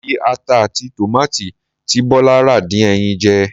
Mo fi ata àti tòmátì tí Bọ́lá rà dín ẹyin jẹ.